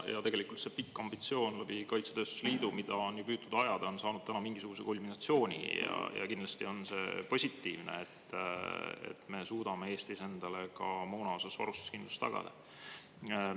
Tegelikult see pikk ambitsioon läbi kaitsetööstuse liidu, mida on püütud ajada, on saanud mingisuguse kulminatsiooni, ja kindlasti on see positiivne, et me suudame Eestis endale ka moona varustuskindlust tagada.